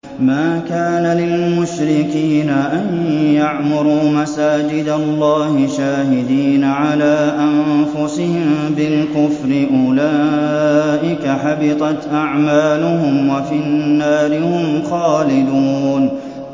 مَا كَانَ لِلْمُشْرِكِينَ أَن يَعْمُرُوا مَسَاجِدَ اللَّهِ شَاهِدِينَ عَلَىٰ أَنفُسِهِم بِالْكُفْرِ ۚ أُولَٰئِكَ حَبِطَتْ أَعْمَالُهُمْ وَفِي النَّارِ هُمْ خَالِدُونَ